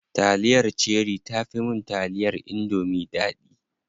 Taliyar cherie tafi mun taliyar indomie daɗi.